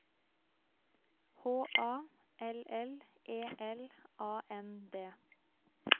H A L L E L A N D